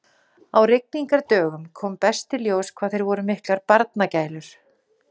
En hendurnar alls ekki.